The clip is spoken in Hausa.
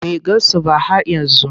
Bai gasu ba hhat yanzu.